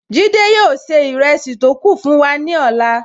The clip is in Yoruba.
Jide yóò ṣe ìrẹsì tó kù fún wa ní ọ̀la